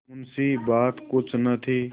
मुंशीबात कुछ न थी